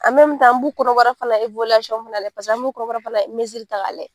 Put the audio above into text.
an b'u kɔnɔbara fana an b'u bɔrala minɛ parce que n b'u kɔnɔbara fana misisiri ta k'a lajɛ.